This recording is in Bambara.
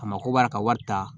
A mako b'a la ka wari ta